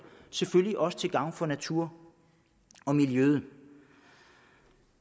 selvfølgelig også til gavn for natur og miljø